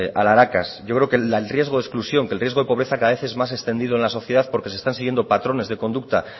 alharacas yo creo que el riesgo de exclusión que el riesgo de pobreza cada vez es más extendido en la sociedad porque se están siguiendo patrones de conducta